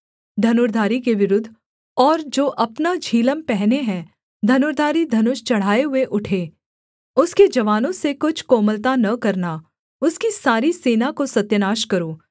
धनुर्धारी के विरुद्ध और जो अपना झिलम पहने हैं धनुर्धारी धनुष चढ़ाए हुए उठे उसके जवानों से कुछ कोमलता न करना उसकी सारी सेना को सत्यानाश करो